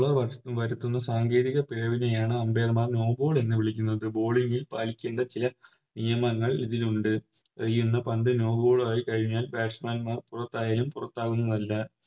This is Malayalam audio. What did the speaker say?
വരുത്തുന്ന സാങ്കേതിക പിഴവിനെയാണ് Umpire മാർ No ball എന്ന് വിളിക്കുന്നത് No ball ൽ പാലിക്കേണ്ട ചില നിയമങ്ങൾ ഇതിലുണ്ട് എറിയുന്ന പന്ത് No ball ആയി കഴിഞ്ഞാൽ Batsman മാർ പുറത്തായാലും പുറത്താകുന്നതല്ല